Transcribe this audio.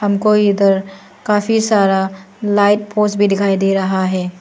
हमको इधर काफी सारा लाइट पोस्ट भी दिखाई दे रहा है।